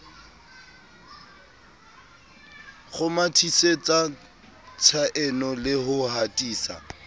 kgomathisetse tshaeno le ho hatisa